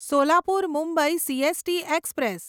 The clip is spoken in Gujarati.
Solapur Mumbai CST express